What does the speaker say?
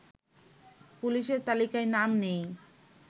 পুলিশের তালিকায় নাম নেই